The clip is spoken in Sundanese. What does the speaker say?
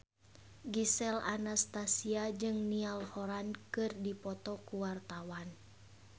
Gisel Anastasia jeung Niall Horran keur dipoto ku wartawan